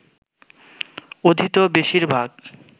অধীত বেশির ভাগ